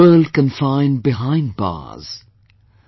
The world confined behind bars,